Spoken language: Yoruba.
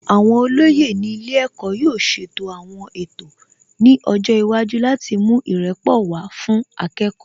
Àwọn olóyè ní ilé ẹ̀kọ́ yóò ṣètò àwọn ètò ní ọjọ́ iwájú láti mú ìrẹ́pọ̀ wá fún akẹ́kọ̀ọ́